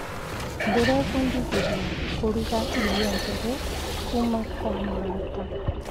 Ndĩrebundithirie kũruga irio njerũ kuuma kwa mũrata.